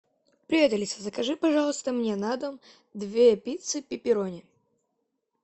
привет алиса закажи пожалуйста мне на дом две пиццы пепперони